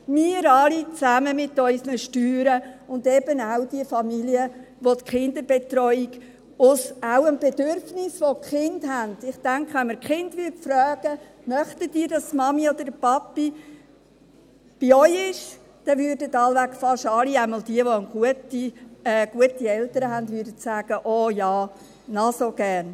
– Wir alle zusammen mit unseren Steuern, und eben auch die Familien, welche die Kinderbetreuung, auch aus dem Bedürfnis heraus, welches die Kinder haben … Ich denke, wenn man die Kinder fragen würde, «Möchtet ihr, dass die Mama oder der Papa bei euch ist?», dann würden wohl fast alle, jedenfalls diejenigen, welche gute Eltern haben, sagen: «Oh ja, noch so gerne!».